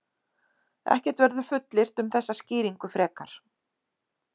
Ekkert verður fullyrt um þessa skýringu frekar.